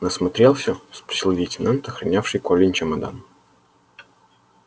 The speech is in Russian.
насмотрелся спросил лейтенант охранявший колин чемодан